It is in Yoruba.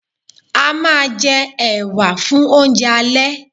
A máa jẹ ẹ̀wà (baked beans) fun oúnjẹ alẹ́